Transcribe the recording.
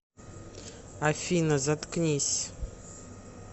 афина заткнись